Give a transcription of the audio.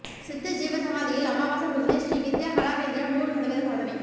சித்தர் ஜீவசமாதியில் அமாவாசை பூஜை ஸ்ரீ வித்யா கலா கேந்திரம் நுாறு சதவீத சாதனை